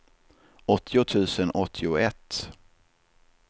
åttio tusen åttioett